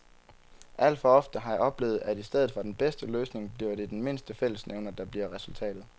Alt for ofte har jeg oplevet, at i stedet for den bedste løsning bliver det den mindste fællesnævner, der bliver resultatet.